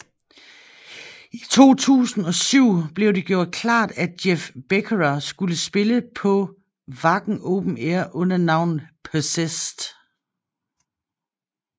I 2007 blev det gjort klart at Jeff Becerra skulle spille på Wacken Open Air under navnet Possessed